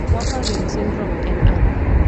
Warfarin syndrome nyiso ang'o?